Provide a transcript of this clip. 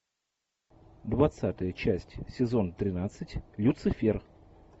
двадцатая часть сезон тринадцать люцифер